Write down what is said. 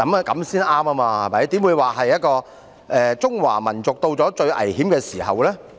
怎會說"中華民族到了最危險的時候"？